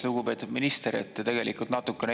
Lugupeetud minister!